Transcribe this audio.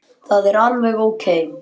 Það er alveg ókei.